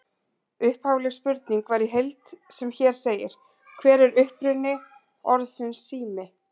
Upphafleg spurning var í heild sem hér segir: Hver er uppruni orðsins sími?